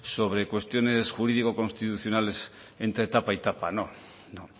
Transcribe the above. sobre cuestiones jurídico constitucionales entre tapa y tapa no no